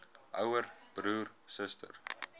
ouer broer suster